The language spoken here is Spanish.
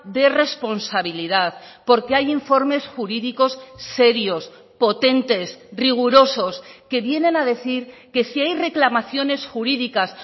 de responsabilidad porque hay informes jurídicos serios potentes rigurosos que vienen a decir que si hay reclamaciones jurídicas